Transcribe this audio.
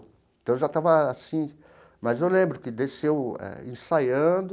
Então, eu já estava assim, mas eu lembro que desceu eh ensaiando